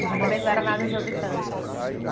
Mas também não era nada exorbitante, assim?